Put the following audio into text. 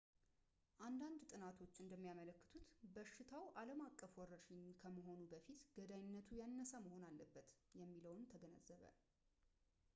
አንዳንድ ጥናቶች እንደሚያመለክቱት በሽታው ዓለም አቀፍ ወረርሽኝ ከመሆኑ በፊት ገዳይነቱ ያነሰ መሆን አለበት የሚለውን ተገነዘበ